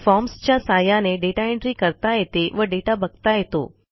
forms च्या सहाय्याने data entry करता येते व दाता बघता येतो